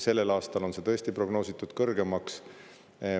Sellel aastal on see tõesti prognoositud kõrgemaks.